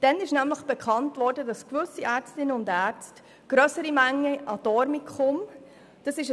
Damals wurde nämlich bekannt, dass gewisse Ärztinnen und Ärzte substanzabhängigen Personen grössere Mengen an Dormicum verschrieben hatten.